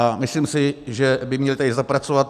A myslím si, že by měli tady zapracovat.